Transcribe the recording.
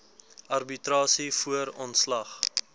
arbitrasie voor ontslag